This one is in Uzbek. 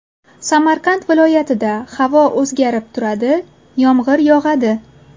Samarqand viloyatida havo o‘zgarib turadi, yomg‘ir yog‘adi.